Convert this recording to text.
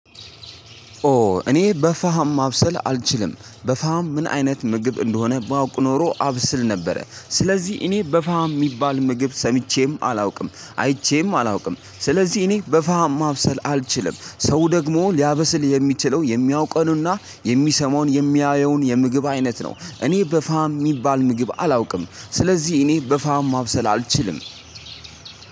ኦ እኔ በፋሃም ማብሰል አልችልም። በፋሃም ምን አይነት ምግብ እንደሆነ ማወቅ ኖሮ አብስል ነበረ። ስለዚህ እኔ በፋሃም የሚባል ምግብ ሰምቼም አላውቅም አይቼም አላውቅም። ስለዚህ እኔ በፋሃም ማብሰል አልችልም ሰው ደግሞ ሊያበስል የሚችለው የሚያውቀኑና የሚሰማውን የሚያየውን የምግብ አይነት ነው። እኔ በፋሃም የሚባል ምግብ አላውቅም። ስለዚህ እኔ በፋሃም ማብሰል አልችልም።